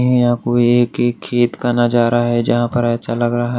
आपको एक एक खेत का नजारा है जहां पर अच्छा लग रहा है।